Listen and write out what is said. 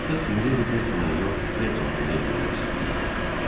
Artıq Ximileydi Feltonun yox, Felton Ximileydinin əsiri idi.